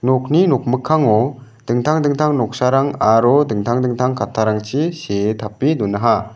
nokni nokmikkango dingtang dingtang noksarang aro dingtang dingtang kattarangchi see tape donaha.